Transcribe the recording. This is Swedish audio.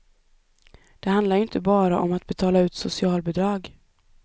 Det handlar ju inte bara om att betala ut socialbidrag.